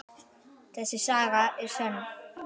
Þessi saga er sönn.